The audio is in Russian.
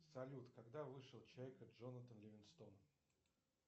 салют когда вышел чайка джонатан ливингстон